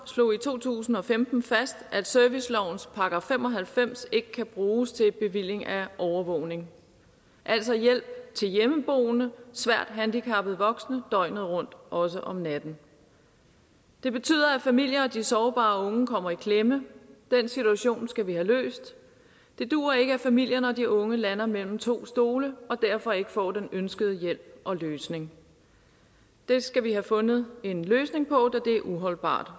slog i to tusind og femten fast at servicelovens § fem og halvfems ikke kan bruges til bevilling af overvågning altså hjælp til hjemmeboende svært handicappede voksne døgnet rundt også om natten det betyder at familier og de sårbare unge kommer i klemme den situation skal vi have løst det duer ikke at familierne og de unge lander mellem to stole og derfor ikke får den ønskede hjælp og løsning det skal vi have fundet en løsning på da det er uholdbart